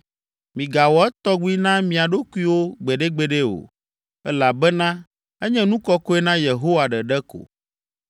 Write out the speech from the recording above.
Migawɔ etɔgbi na mia ɖokuiwo gbeɖegbeɖe o, elabena enye nu kɔkɔe na Yehowa ɖeɖe ko.